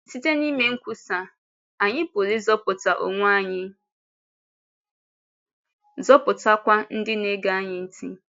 Site n’ime nkwúsa, anyị pụrụ ịzọpụta onwe anyị, zọpụtakwa ndị na-ege anyị ntị.